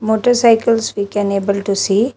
Motorcycles we can able to see.